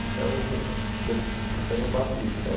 Então, eu então eu faço isso então.